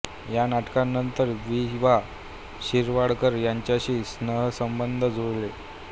या नाटकानंतर वि वा शिरवाडकर यांच्याशी स्नेहसंबंध जुळले